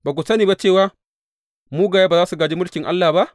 Ba ku sani ba cewa mugaye ba za su gāji mulkin Allah ba?